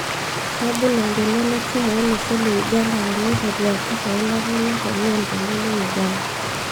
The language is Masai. Kebul engolon e chumu olosho le Uganda teneiteru aturr eilata enye toloontoluo le Uganda